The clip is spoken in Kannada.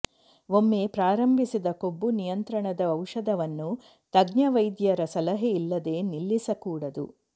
ಒಮ್ಮೆ ಪ್ರಾರಂಭಿಸಿದ ಕೊಬ್ಬು ನಿಯಂತ್ರಣದ ಔಷಧವನ್ನು ತಜ್ಞವೈದ್ಯರ ಸಲಹೆ ಇಲ್ಲದೆ ನಿಲ್ಲಿಸಕೂಡದು